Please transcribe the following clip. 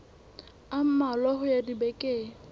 a mmalwa ho ya dibekeng